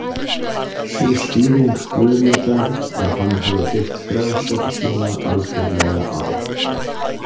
Sú skýring Guðmundar að hann hafi byggt frásögn sína algjörlega á.